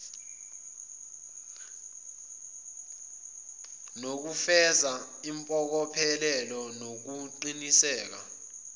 nokufeza impokophelelo nokuqiniseka